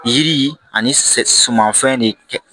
Yiri ani sɛmanfɛn de kɛ